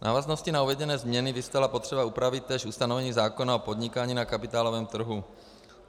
V návaznosti na uvedené změny vyvstala potřeba upravit též ustanovení zákona o podnikání na kapitálovém trhu.